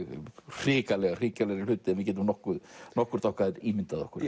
hrikalegri hrikalegri hluti en við getum nokkurt nokkurt okkar ímyndað okkur